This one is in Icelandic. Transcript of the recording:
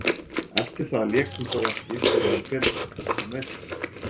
Eftir það lék hún þó ekki fyrr en í fyrra vegna meiðsla.